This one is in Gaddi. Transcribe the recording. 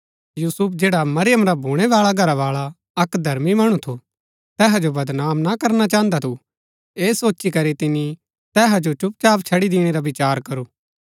यूसुफ जैडा मरियम रा भूणै बाळा घरावाळा अक्क धर्मी मणु थू तैहा जो बदनाम ना करना चाहन्दा थु ऐह सोची करी तिनी तैहा जो चुपचाप छड़ी दिणै रा विचार करू